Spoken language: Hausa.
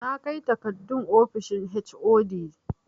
Na kai takardun ofishin HOD